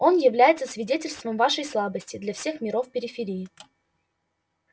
оно является свидетельством вашей слабости для всех миров периферии